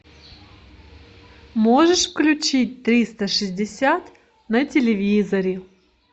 можешь включить триста шестьдесят на телевизоре